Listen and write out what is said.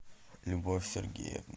любовь сергеевна